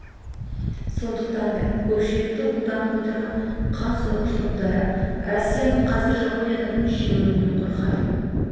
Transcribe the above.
сондықтан да көпшілікті құлданып отырған қан сорғыш топтары россияның қазір жапониядан жеңілуінен қорқады